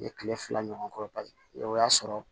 N ye kile fila ɲɔgɔn k'o o y'a sɔrɔ